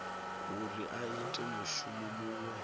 uri a ite mushumo muṅwe